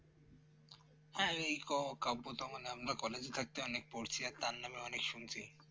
হ্যাঁ এই ক কাব্য তো মানে আমরা College এ থাকতে অনেক পড়ছি তার নামে অনেক শুনছি